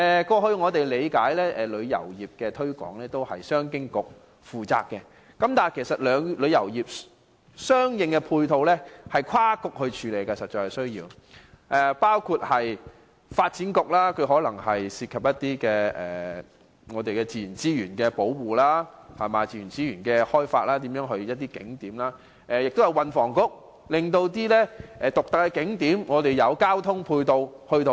過往旅遊業的推廣工作由商務及經濟發展局負責，但事實上旅遊業相應的配套需要多個政策局配合，包括發展局，因可能涉及自然資源的保護和開發，以及運輸及房屋局，因涉及獨特景點的交通配套。